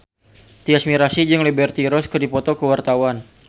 Tyas Mirasih jeung Liberty Ross keur dipoto ku wartawan